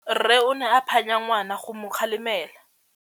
Rre o ne a phanya ngwana go mo galemela.